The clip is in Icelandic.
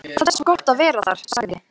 Það er svo gott að vera þar, sagði